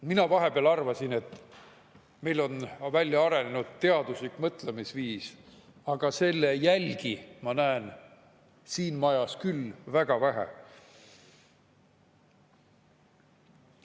Mina vahepeal arvasin, et meil on välja arenenud teaduslik mõtlemisviis, aga selle jälgi ma näen siin majas küll väga vähe.